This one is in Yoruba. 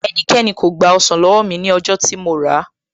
Ẹnikẹ́ni kò gba ọsàn ní owó mi ní ọjọ́ tí mo ràá